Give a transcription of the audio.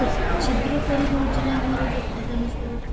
ଛିଦ୍ର କରିଦଉଛି ନା ଆମର ଯୋଉ ଓଜନ ସ୍ତରଟା